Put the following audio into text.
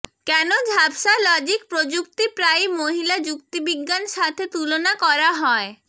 কেন ঝাপসা লজিক প্রযুক্তি প্রায়ই মহিলা যুক্তিবিজ্ঞান সাথে তুলনা করা হয়